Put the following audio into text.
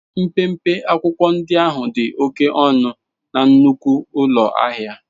Mpempe akwụkwọ ndị ahụ dị oke ọnụ na nnukwu ụlọ ahịa.